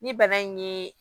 Ni bana in ye